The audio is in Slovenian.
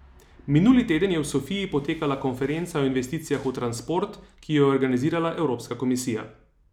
Minuli teden je v Sofiji potekala konferenca o investicijah v transport, ki jo je organizirala Evropska komisija.